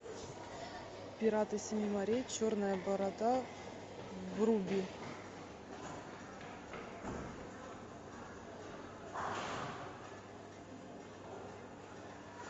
пираты семи морей черная борода вруби